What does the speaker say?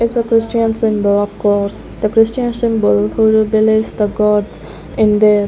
there's a christian symbol of cross the christian symbol village the gods in there --